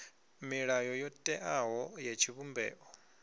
milayo yo teaho ya tshivhumbeo